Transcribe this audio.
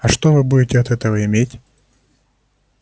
а что вы будете от этого иметь